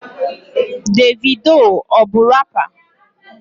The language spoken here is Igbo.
Davido ọ bu rapa?